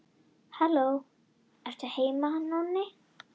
Vísifingur og langatöng bogna oft að baugfingri.